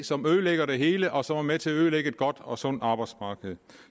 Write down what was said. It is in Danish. som ødelægger det hele og som er med til at ødelægge et godt og sundt arbejdsmarked